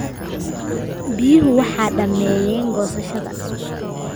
Biyuhu waxay dhameeyaan goosashada.